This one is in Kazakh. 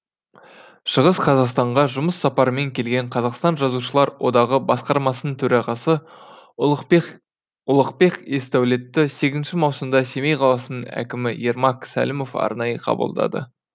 шығыс қазақстанға жұмыс сапарымен келген қазақстан жазушылар одағы басқармасының төрағасы ұлықбек есдәулетті сегізінші маусымда семей қаласының әкімі ермак сәлімов арнайы қабылдады